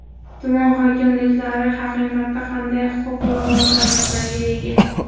Tuman hokimliklari haqiqatda qanday huquq va vakolatlarga ega?